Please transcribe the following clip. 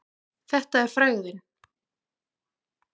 Þetta er frægðin.